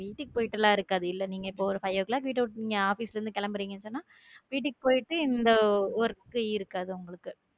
வீட்டுக்கு போயிட்டுல்லாம் இருக்காது. இல்லை நீங்க இப்போ ஒரு five'o clock வீட்ட விட்டு நீங்க கிளம்புறீங்கன்னு சொன்னா வீட்டுக்கு போயிட்டு இந்த work இருக்காது உங்களுக்கு